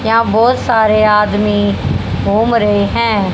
यहां बहोत सारे आदमी घूम रहे हैं।